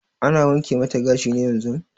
Ana wanke mata gashi ne yanzun?